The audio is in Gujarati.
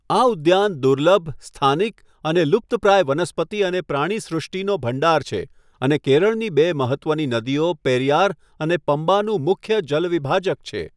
આ ઉદ્યાન દુર્લભ, સ્થાનિક અને લુપ્તપ્રાય વનસ્પતિ અને પ્રાણીસૃષ્ટિનો ભંડાર છે અને કેરળની બે મહત્ત્વની નદીઓ પેરિયાર અને પમ્બાનું મુખ્ય જલવિભાજક છે.